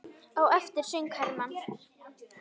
Á eftir söng Hermann